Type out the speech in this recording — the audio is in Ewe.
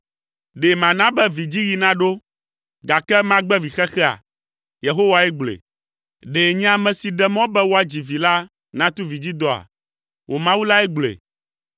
Ɖe mana be vidziɣi naɖo, gake magbe vixexea?” Yehowae gblɔe. “Ɖe nye ame si ɖe mɔ be woadzi vi la, natu vidzidɔa?” Wò Mawu lae gblɔe.